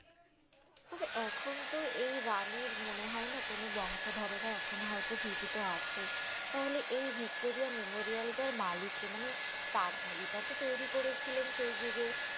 তবে এখন তো এই রানীর মনে হয় না কোনো বংশধরেরা এখনো হয়তো জীবিত আছে! তাহলে এই ভিক্টোরিয়া মেমোরিয়ালটার মালিক কে? মানে তার এটাতো তৈরি করেছিলেন সেই যুগে